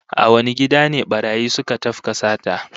A wane gida ne barayi suka tafka sata?